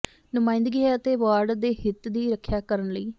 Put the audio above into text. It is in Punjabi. ਨੁਮਾਇੰਦਗੀ ਹੈ ਅਤੇ ਵਾਰਡ ਦੇ ਹਿੱਤ ਦੀ ਰੱਖਿਆ ਕਰਨ ਲਈ